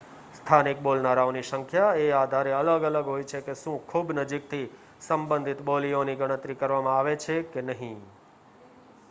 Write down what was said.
સ્થાનિક બોલનારાઓની સંખ્યા એ આધારે અલગ અલગ હોય છે કે શું ખૂબ નજીકથી સંબંધિત બોલીઓની ગણતરી કરવામાં આવે છે કે નહીં